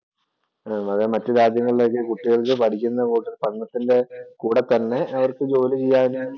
അതെ മറ്റു രാജ്യങ്ങളിലെ ഒക്കെ കുട്ടികൾക്ക് പഠിക്കുന്ന പഠനത്തിന്‍റെ കൂടെത്തന്നെ അവര്‍ക്ക് ജോലി ചെയ്യാന്